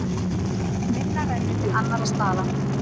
Minna rennur til annarra staða.